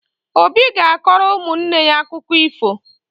Obi ga-akọrọ ụmụnne ya akụkọ ifo